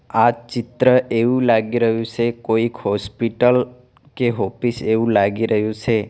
આ ચિત્ર એવું લાગી રહ્યું સે કોઈક હોસ્પિટલ કે હોફિસ એવું લાગી રહ્યું સે.